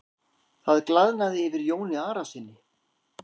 Það glaðnaði yfir Jóni Arasyni.